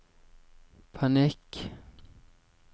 panikk